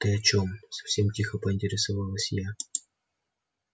ты о чем совсем тихо поинтересовалась я